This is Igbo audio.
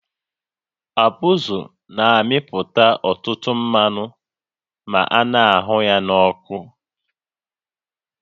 Abụzụ na-amịpụta ọtụtụ mmanụ ma a na-ahụ ya n'ọkụ